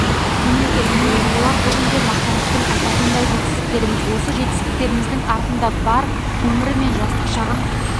мемлекет міне бұлар бүгінде мақтанышпен айтатындай жетістіктеріміз осы жетістіктеріміздің артында бар өімірі мен жастық шағын